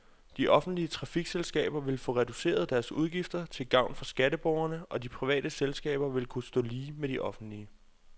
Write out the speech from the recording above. De offentlige trafikselskaber vil få reduceret deres udgifter til gavn for skatteborgerne, og de private selskaber vil kunne stå lige med de offentlige.